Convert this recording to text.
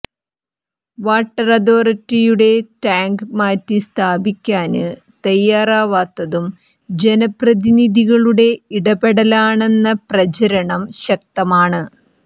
water authority tank മാറ്റി സ്ഥാപിക്കാന് തയ്യാറാവാത്തതും ജനപ്രതിനിധികളുടെ ഇടപെടലാണെന്ന പ്രചരണം ശക്തമാണ്